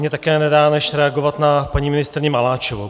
Mně také nedá, než reagovat na paní ministryni Maláčovou.